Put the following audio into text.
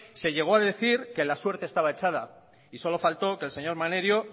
se llegó a decir que la suerte estaba echada y solo faltó que el señor maneiro